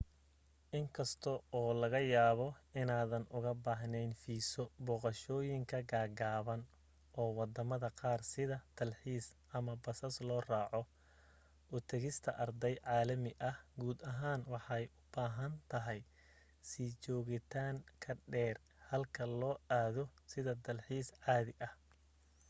in kasta oo laga yaabo inaadan uga baahneyn fiiso booqashooyinka gaagaaban oo wadamada qaar sida dalxiis ama basas loo raaaco u tagista arday caalami ah guud ahaan waxay u baahan tahay sii joogitaan ka dheer halka loo aado sida dalxiis caadi ah